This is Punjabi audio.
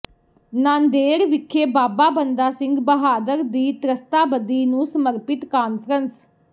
ਨਾਂਦੇੜ ਵਿਖੇ ਬਾਬਾ ਬੰਦਾ ਸਿੰਘ ਬਹਾਦਰ ਦੀ ਤ੍ਰਸਤਾਬਦੀ ਨੂੰ ਸਮਰਪਿਤ ਕਾਨਫਰੰਸ